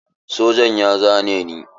Sojan ya zane ni.